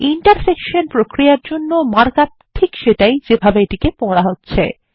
intersection প্রক্রিয়ার জন্যও mark up ঠিক সেটাই যেভাবে এটিকে পড়া হচ্ছে